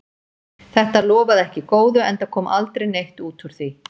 Þetta lofaði ekki góðu, enda kom aldrei neitt út úr því.